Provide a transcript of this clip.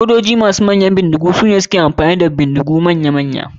Sojoji masu hidiman bindigu sune suka iya amfani da bindigu manya manya.